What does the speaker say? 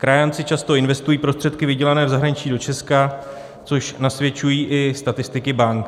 Krajánci často investují prostředky vydělané v zahraničí do Česka, což nasvědčují i statistiky bank.